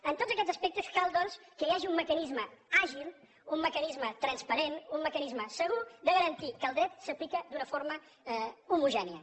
en tots aquests aspectes cal doncs que hi hagi un mecanisme àgil un mecanisme transparent un mecanisme segur de garantir que el dret s’aplica d’una forma homogènia